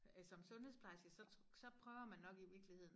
Øh som sundhedsplejerske så så prøver man nok i virkeligheden